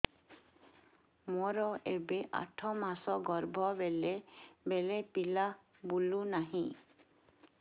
ମୋର ଏବେ ଆଠ ମାସ ଗର୍ଭ ବେଳେ ବେଳେ ପିଲା ବୁଲୁ ନାହିଁ